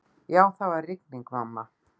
Já, það var rigning, mamma.